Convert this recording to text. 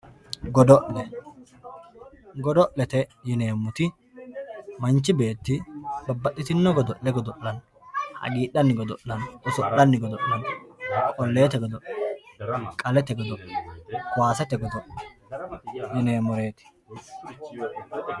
Godo`lle godo`leye yinemoti manichi beeti babaxitino godole godolano hagiidhani godolani oso`lani godo`lano qoleete godo`le qalete godo`le kowasete godo`le yinemoteeti.